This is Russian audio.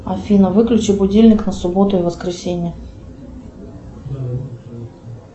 афина выключи будильник на субботу и воскресенье